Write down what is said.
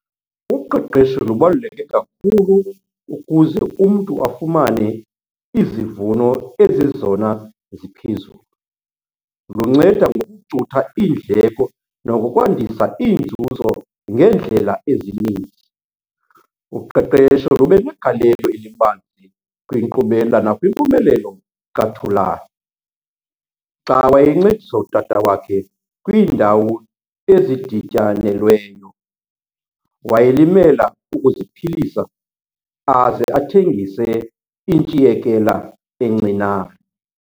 Uqeqesho lubaluleke kakhulu ukuze umntu afumane izivuno ezizezona ziphezulu. Lunceda ngokucutha iindleko nangokwandisa iinzuzo ngeendlela ezininzi. Uqeqesho lube negalelo elibanzi kwinkqubela nakwimpumelelo kaThulan. Xa wayencedisa utata wakhe kwiindawo ezidityanelweyo, wayelimela ukuziphilisa aze athengise intshiyekela encinane.